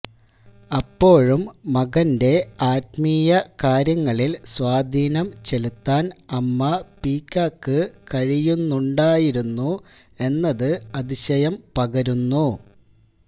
അപ്പോഴും മകന്റെ ആത്മീയ കാര്യങ്ങളിൽ സ്വാധീനം ചെലുത്താൻ അമ്മ പീക്കാക്ക് കഴിയുന്നുണ്ടായിരുന്നുന്നുഎന്നത് അതിശയം പകരുന്നു